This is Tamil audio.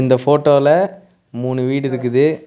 இந்த ஃபோட்டோல மூனு வீடு இருக்குது.